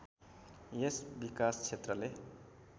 यस विकास क्षेत्रले